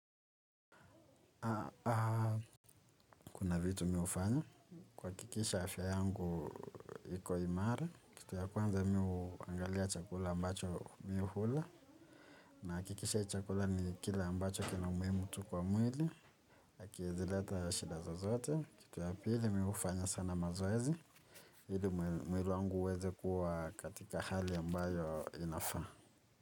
Kuna vitu mimi hufanya. Kuhakikisha afya yangu iko imara. Kitu ya kwanza miumi huangalia chakula ambacho mimi hula. Nahakikisha chakula ni kile ambacho kina umuhimu tu kwa mwili. Hakiwezi leta ya shida zozote. Kitu ya pili mimi hufanya sana mazoezi. Ili mwili wangu uweze kuwa katika hali ambayo inafaa.